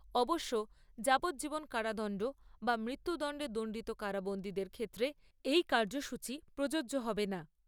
অবশ্য যাবজ্জীবন কারাদণ্ড বা মৃত্যুদণ্ডে দণ্ডিত কারাবন্দীদের ক্ষেত্রে এই কার্যসূচী প্রযোজ্য হবে না।